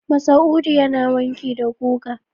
Masa'udu yana wanki da guga.